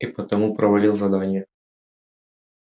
и потому провалил задание